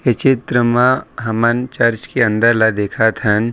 ये चित्र मा हमन चर्च के अंदर ल देखत हन--